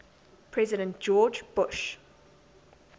president george bush